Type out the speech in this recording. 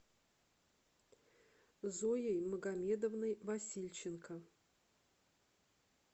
зоей магомедовной васильченко